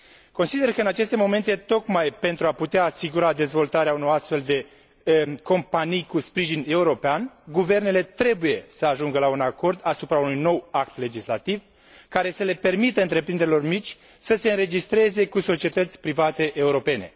Consider că în aceste momente, tocmai pentru a putea asigura dezvoltarea unor astfel de companii cu sprijin european, guvernele trebuie să ajungă la un acord asupra unui nou act legislativ, care să le permită întreprinderilor mici să se înregistreze ca societăți private europene.